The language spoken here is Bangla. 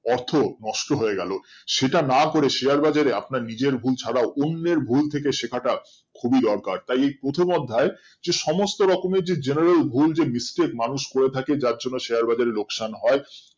অর্থ নষ্ট হয়ে গেলো সেটা না করে share বাজার এ আপনার নিজের ভুল ছাড়াও অন্যের ভুল থেকে শেখাটা খুবই দরকার তাই এই প্রথম অধ্যায় যে সমস্ত রকমের যে general ভুল বা mistake মানূষ করে থাকে যার জন্য share বাজার এ লোকসান হয়